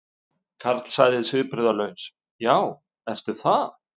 Karl sagði svipbrigðalaus: Já, ertu það?